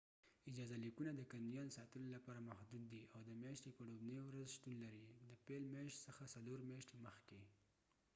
اجازه لیکونه د کنیان ساتلو لپاره محدود دي، او د میاشتې په ۱وړوبني ورځ شتون لري، د پیل میاشت څخه څلور میاشتې مخکې